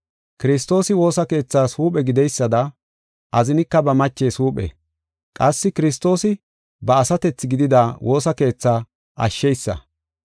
Kiristoosi woosa keethaas huuphe gideysada azinika ba machees huuphe. Qassi Kiristoos ba asatethi gidida woosa keethaa ashsheysa.